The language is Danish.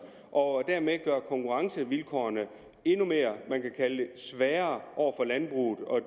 og dermed gøre konkurrencevilkårene endnu sværere for landbruget og